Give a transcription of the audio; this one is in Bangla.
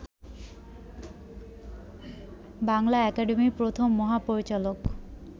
বাংলা একাডেমির প্রথম মহাপরিচালক